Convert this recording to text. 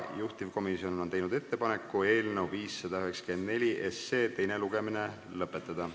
Juhtivkomisjon on teinud ettepaneku eelnõu 594 teine lugemine lõpetada.